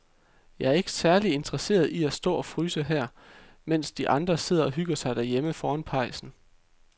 Jeg er ikke særlig interesseret i at stå og fryse her, mens de andre sidder og hygger sig derhjemme foran pejsen.